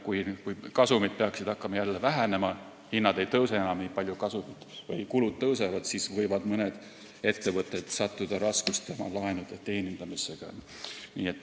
Kui kasumid peaksid hakkama jälle vähenema – hinnad ei tõuse enam nii palju, aga kulud tõusevad –, siis võivad mõned ettevõtted sattuda raskustesse oma laenude teenindamisega.